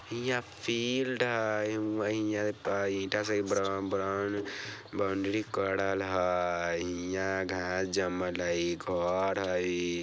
हियाँ फील्ड हई हुआँ हिया ता ईटा सा बरन-बरन-बाउंड्री करल हई हियाँ घास जमल हई घर हई।